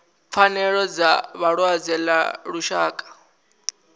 pfanelo dza vhalwadze ḽa lushaka